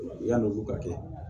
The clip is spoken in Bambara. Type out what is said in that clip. Yann'olu ka kɛ